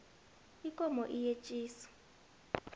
ikomo iyetjisa